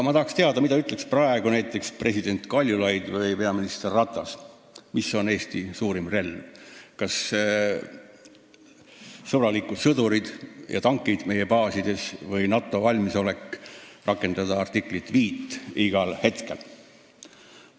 Ma tahaks teada, mida ütleks praegu näiteks president Kaljulaid või peaminister Ratas, mis on Eesti suurim relv: kas sõbralikud sõdurid ja tankid meie baasides või NATO valmisolek rakendada igal hetkel artiklit 5?